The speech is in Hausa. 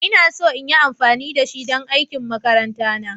Ina so in yi amfani da shi don aikin makaranta na.